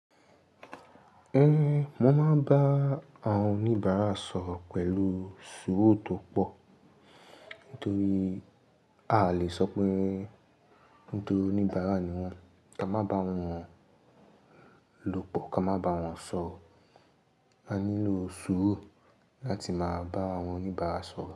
Mo máa ń bá àwọn oníbàárà sọ̀rọ̀ pẹ̀lú sùúrù tó pọ̀. Nítorí à lè sọ pé nítorí oníbàárà ni wọ́n. Ka má ba wọn lòpọ̀, ka má ba wọn sọ̀rọ̀. A nílò sùúrù láti máa bá àwọn oníbàárà sọ̀rọ̀